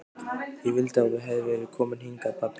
Ég vildi að þú hefðir verið kominn hingað pabbi.